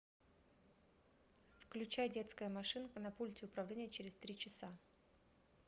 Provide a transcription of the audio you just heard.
включай детская машинка на пульте управления через три часа